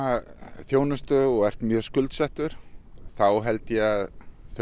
þjónustu og ert mjög skuldsettur þá held ég að þau